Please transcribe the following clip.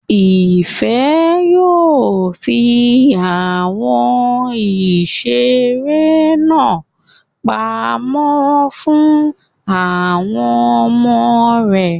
Ìfẹ́ yóò fi àwọn ìseré náà pamọ́ fún àwọn ọmọ rẹ̀